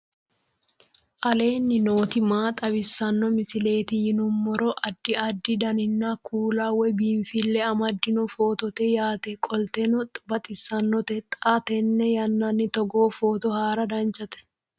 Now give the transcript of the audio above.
aleenni nooti maa xawisanno misileeti yinummoro addi addi dananna kuula woy biinfille amaddino footooti yaate qoltenno baxissannote xa tenne yannanni togoo footo haara danchate